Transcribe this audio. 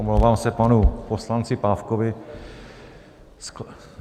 Omlouvám se panu poslanci Pávkovi.